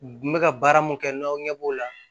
N bɛ ka baara mun kɛ n'aw ɲɛ b'o la